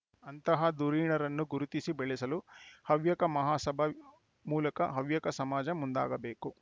ಅಂತಹ ಧುರೀಣರನ್ನು ಗುರುತಿಸಿ ಬೆಳೆಸಲು ಹವ್ಯಕ ಮಹಾಸಭಾ ಮೂಲಕ ಹವ್ಯಕ ಸಮಾಜ ಮುಂದಾಗಬೇಕು